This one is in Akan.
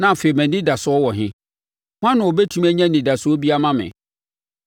na afei mʼanidasoɔ wɔ he? Hwan na ɔbɛtumi anya anidasoɔ bi ama me?